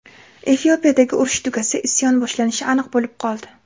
Efiopiyadagi urush tugasa, isyon boshlanishi aniq bo‘lib qoldi.